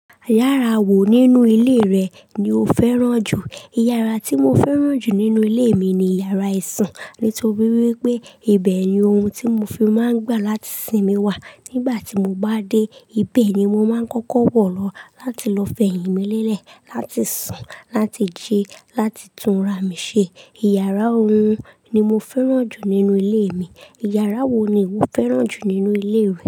Yàrá wo nínú ilé rẹ ni o fẹ́ràn jù? Ìyàrá tí mo fẹ́ràn jù nínú ilé mi ni Ìyàrá-isùn. Nítorí wípé ibẹ̀ ni ohun tí mo fi máa ń gbà láti sinmi wà. Nígbà tí mo bá dé, ibẹ̀ ni mo máa ń kọ́kọ́ wọ̀ lọ láti lọ fẹ̀yìntì mí lẹ́lẹ̀, láti sùn, láti jẹ, láti túnra mi ṣe. Ìyàrá oòrun ni mo fẹ́ràn jù nínú ilé mi. Ìyàrá wo ni iwo fẹ́ràn jù nínú ilé rẹ?